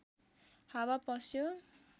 हावा पस्यो